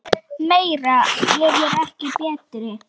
Meira er ekki alltaf betra.